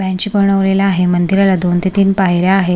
ची बनवलेला आहे मंदिराला दोन ते तीन पायऱ्या आहे.